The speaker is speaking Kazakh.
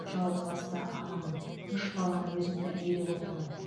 жалғызбасты анамын үш баланы өзім тәрбиелеп отырмын